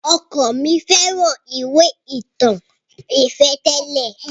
Ọkọ mi fẹ́ràn ìwé ìtàn ìfẹ́ tẹ́lẹ̀.